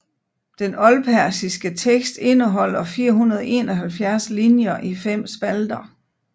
Den oldpersiske tekst indeholder 471 linjer i fem spalter